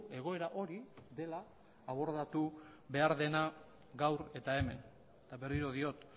egoera hori dela abordatu behar dena gaur eta hemen eta berriro diot